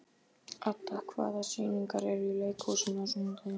Adda, hvaða sýningar eru í leikhúsinu á sunnudaginn?